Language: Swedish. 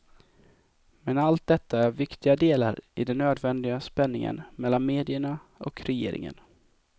Men allt detta är viktiga delar i den nödvändiga spänningen mellan medierna och regeringen.